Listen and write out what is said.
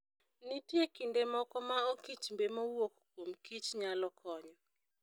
Nitie kinde moko ma okichmbe mowuok kuom kich nyalo konyo.